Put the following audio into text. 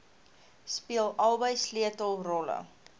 speel albei sleutelrolle